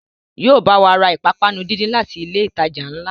Yóò bá wa ra ìpápánu díndín láti ilé ìtajà ńlá